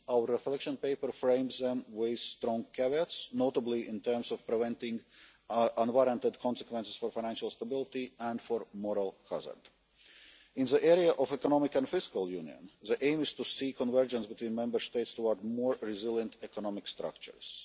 issues. Our reflection paper frames them with strong caveats, notably in terms of preventing unwarranted consequences for financial stability and for moral hazard. In the area of economic and fiscal union, the aim is to see convergence between Member States towards more resilient economic structures.